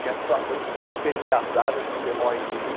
Tinha situações super engraçadas, que você morre de rir.